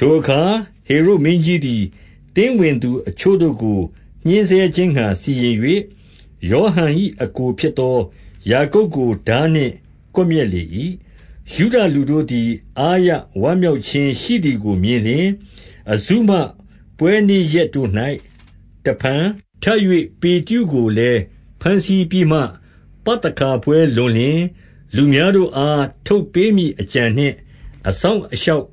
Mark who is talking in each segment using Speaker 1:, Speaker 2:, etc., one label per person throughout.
Speaker 1: ထိုအခါဟေရုဒ်မင်းကြီးသည် သင်းဝင်သူ အချို့ တို့ကို ညှဉ်းဆဲ ခြင်းငှါစီရင်၍၊ 2 ယောဟန်၏အစ်ကိုဖြစ်သော ယာကုပ်ကို ထား နှင့်ကွပ်မျက် လေ၏။ 3 ယုဒလူတို့သည် အားရဝမ်းမြောက်ခြင်း ရှိသည် ကိုမြင်လျှင်၊ အဇုမပွဲနေ့ရက်တို့၌ တဖန်ထပ်၍၊ 4 ပေတရုကိုလည်း ဘမ်းဆီးပြီးမှ၊ ပသခါပွဲလွန်လျှင် လူများတို့အား ထုတ်ပေးမည်အကြံနှင့် အစောင့် အရှောက်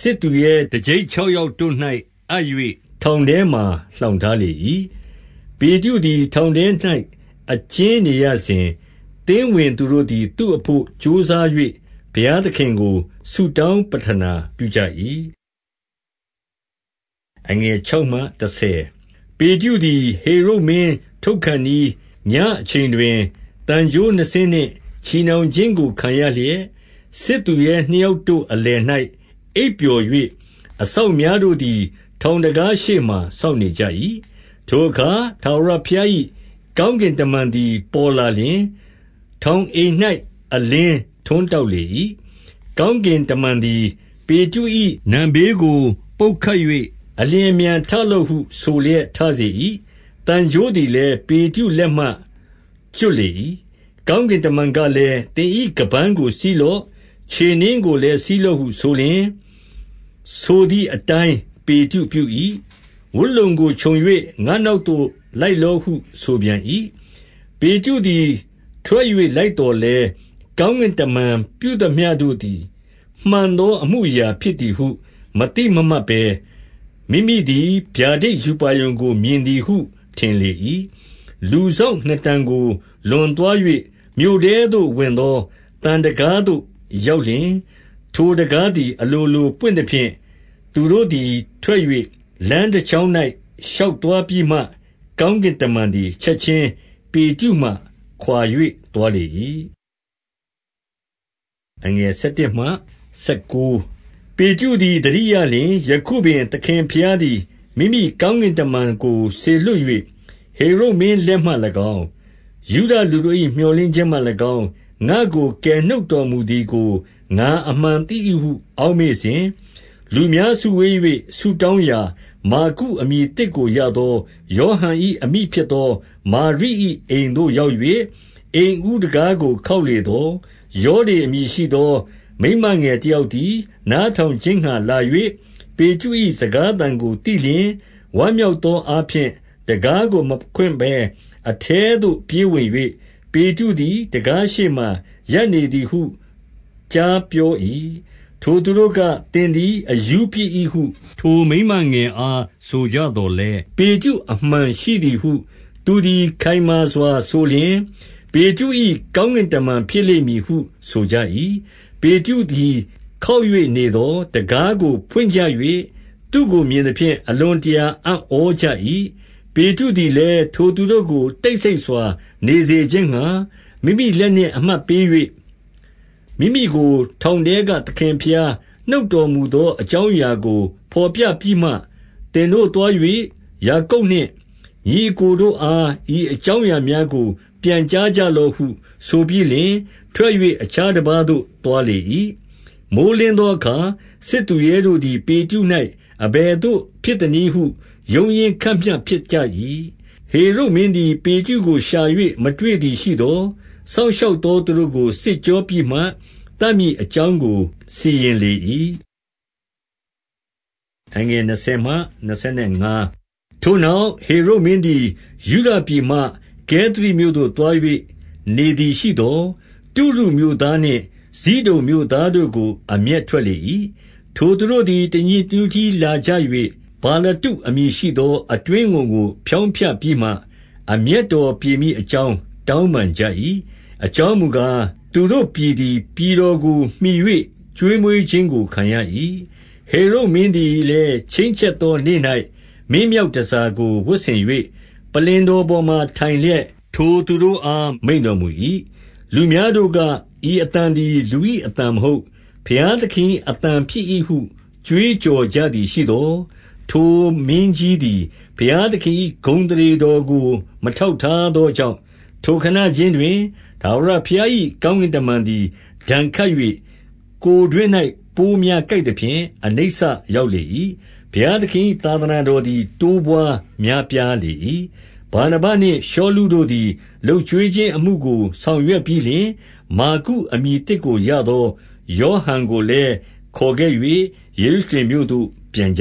Speaker 1: စစ်သူရဲ တကျိပ်ခြောက် ယောက်တို့၌အပ်၍ ထောင်တွင်လှောင်ထားလေ၏။ 5 ပေတရုသည်ထောင်၌ အကျင်းနေရစဉ်၊ သင်း ဝင်သူတို့သည် သူ့ဘို့ကြိုးစား၍ ဘုရားသခင်ကို ဆုတောင်းဝတ်ပြုကြ၏။ 6 ပေတရုသည် ဟေရုဒ်မင်းထုတ်ခါနီး၊ ညဉ့်အချိန် တွင် သံကြိုး နှစ်စင်းနှင့် ချည်နှောင်ခြင်းကိုခံရလျက်၊ စစ်သူရဲနှစ်ယောက်တို့အလယ်၌ အိပ်ပျော်၍၊ အစောင့် များ တို့သည် ထောင်တံခါးရှေ့မှာ စောင့်နေကြ၏။ 7 ထိုအခါ ထာဝရဘုရား၏ ကောင်းကင်တမန် သည် ပေါ်လာလျှင် ထောင်အိမ်၌ အလင်းထွန်းတောက် လေ၏။ ကောင်းကင်တမန်သည် ပေတရု၏ နံဖေးကို ပုတ်ခတ်၍၊ အလျင်အမြန်ထလော့ဟု ဆိုလျက်ထစေ ၏။ သံကြိုးသည်လည်း ပေတရုလက်မှကျွတ်လေ၏။ 8 ကောင်းကင်တမန်ကလည်း၊ သင်၏ ခါးပန်းကို စည်းလော့။ ခြေနင်းကိုလည်းစည်းလော့ဟုဆိုလျှင်၊ ဆိုသည်အတိုင်း ပေတရုပြု၏။ ဝတ်လုံကိုခြုံ၍ ငါ့နောက်သို့လိုက်လော့ဟုဆိုပြန်၏။ 9 ပေတရုသည် ထွက်၍လိုက်သော်လည်း၊ ကောင်းကင်တမန် ပြုသမျှတို့သည် မှန်သောအမှုအရာ ဖြစ်သည်ဟု မသိမမှတ်ဘဲ၊ မိမိသည် ဗျာဒိတ်ရူပါရုံကို မြင်သည်ဟုထင်လေ၏။ 10 လူစောင့်နှစ်တန်ကို လွန်သွား၍ မြို့ထဲသို့ ဝင်သော သံတံခါး သို့ရောက်လျှင်၊ ထိုတံခါးသည် အလိုလို ပွင့်သဖြင့် သူတို့သည်ထွက်၍ လမ်းတကြောင်း၌ ရှောက်သွားပြီးမှ၊ ကောင်းကင်တမန်သည် ချက်ခြင်း ပေတရုမှ ခွါ၍ သွားလေ၏။ 11 ပေတရုသည် သတိရလျှင်၊ ယခုပင် သခင်ဘုရားသည် မိမိကောင်းကင်တမန်ကို စေလွှတ်၍ ဟေရုဒ်မင်း လက်မှ၎င်း၊ ယုဒလူတို့၏ မြော်လင့်ခြင်းမှ ၎င်း၊ ငါ့ကိုကယ်နှုတ်တော်မူသည် ငါအမှန်သိ၏ဟု အောက်မေ့စဉ်၊ 12 လူများစုဝေး၍ ဆုတောင်းရာ၊ မာကုအမည် သစ်ကိုရသော ယောဟန်၏အမိဖြစ်သော မာရိ၏ အိမ်သို့ရောက်၍၊ 13 အိမ်ဦးတံခါးကိုခေါက်လေသော်၊ ရောဒေအမည် ရှိသော မိန်းမငယ်တယောက်သည် နားထောင်ခြင်း ငှါလာ၍၊ 14 ပေတရု၏စကားအသံကိုသိလျှင်၊ ဝမ်းမြောက်သော အားဖြင့် တံခါးကို မဖွင့်ဘဲ အထဲသို့ပြေးဝင်၍၊ ပေတရု သည် တံခါးရှေ့မှာရပ်နေသည်ဟု ကြားပြော၏။ 15 ထိုသူတို့က၊ သင်သည်အရှုးဖြစ်၏ဟု ထို မိန်းမငယ်အားဆိုကြသော်လည်း၊ ပေတရုအမှန် ရှိသည်ဟု သူသည်ခိုင်မာစွာဆိုလျှင်၊ ပေတရု၏ ကောင်းကင်တမန်ဖြစ်လိမ့်မည်ဟုဆိုကြ၏။ 16 ပေတရုသည် ခေါက်၍နေသော်၊ တံခါးကို ဖွင့်ကြ၍ သူ့ကိုမြင် သဖြင့် အလွန်တရာအံ့ဩကြ၏။ 17 ပေတရုသည်လည်း ထိုသူတို့ကိုတိတ်ဆိတ်စွာ နေစေခြင်းငှါ မိမိလက်နှင့်အမှတ်ပေး၍ မိမိကို ထောင်ထဲကသခင်ဘုရားနှုတ်တော်မူ သော အကြောင်းအရာကို ဘော်ပြပြီးမှ၊ သင်တို့သွား၍ ယာကုပ်နှင့် ညီ အစ်ကိုတို့အား ဤအကြောင်းများကို ပြန်ကြားကြလော့ဟု ဆိုပြီးလျှင်၊ ထွက်၍အခြားတပါးသို့သွားလေ၏။ 18 မိုဃ်းလင်းသောအခါ စစ်သူရဲတို့သည် ပေတရု၌ အဘယ်သို့ ဖြစ်သနည်းဟု ရုန်းရင်းခတ်မျှ ဖြစ်ကြ၏။ 19 ဟေရုဒ်မင်းသည် ပေတရုကိုရှာ၍ မတွေ့သည် ရှိသော်၊ စောင့်ရှောက်သောသူတို့ကို စစ်ကြောပြီးမှ သတ်မည်အကြောင်းကို စီရင်လေ၏။ 20 ထိုနောက်၊ ဟေရုဒ်မင်းသည် ယုဒပြည်မှ ကဲသရိမြို့သို့သွား၍ နေသည်ရှိသော်၊ တုရုမြို့သားနှင့် ဇိဒုန် မြို့သားတို့ကို အမျက်ထွက်လေ၏။ ထိုသူတို့သည် တညီတညွတ်တည်းလာကြ၍၊ ဗလတ္တုအမည်ရှိသော အတွင်းဝန်ကို ဖျောင်းဖျပြီးမှ၊ အမျက်တော်ပြေမည်အကြောင်း တောင်းပန်ကြ၏။ အကြောင်းမူကား၊ သူတို့ပြည်သည်ပြည်တော်ကိုမှီ၍ ကျွေးမွေးခြင်းကိုခံရ၏။ 21 ဟေရုဒ်မင်းသည်လည်း ချိန်းချက်သောနေ့၌ မင်းမြောက် တန်ဆာကိုဝတ်ဆင်၍ ပလ္လင်တော်ပေါ်မှာ ထိုင်လျက် ထိုသူတို့အားမိန့် တော်မူ၏။ 22 လူများတို့က၊ ဤအသံသည်လူ၏အသံမဟုတ်။ ဘုရားသခင်၏ အသံဖြစ်၏ဟု ကြွေးကြော်ကြသည် ရှိသော်၊ 23 ထိုမင်းကြီးသည် ဘုရားသခင်၏ ဂုဏ်အသရေတော်ကို မထောက်ထားသောကြောင့်၊ ထိုခဏခြင်းတွင် ထာဝရဘုရား၏ ကောင်းကင်တမန်သည် ဒဏ်ခတ်၍၊ ကိုယ်တွင်း၌ ပိုးများကိုက်သဖြင့် အနိစ္စရောက်လေ၏။ 24 ဘုရားသခင်၏ သာသနာတော်သည် တိုးပွားများပြားလာ၏။ 25 ဗာနဗနှင့် ရှောလုတို့သည် လုပ်ကျွေးခြင်းအမှုကို ဆောင်ရွက်ပြီးလျှင်၊ မာကုအမည်သစ်ကိုရသော ယောဟန်ကိုလည်း ခေါ်ခဲ့၍ ယေရုရှလင်မြို့မှပြန်ကြ